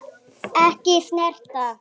Ekki snert.